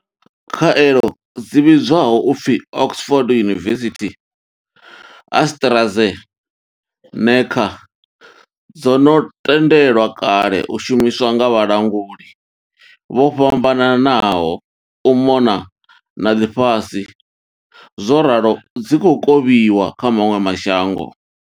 Khaelo dzi vhidzwaho u pfi Oxford University-AstraZeneca dzo no tendelwa kale u shumiswa nga vhalanguli vho fhambananaho u mona na ḽifhasi zworalo dzi khou kovhiwa kha maṅwe ma shango.